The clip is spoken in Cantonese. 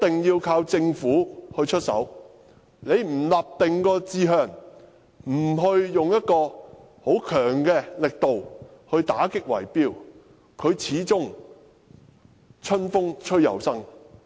如果政府不立定志向，不強力打擊圍標，問題始終會春風吹又生。